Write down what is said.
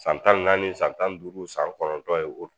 San tan ni naani san tan ni duuru san kɔnɔntɔn ye o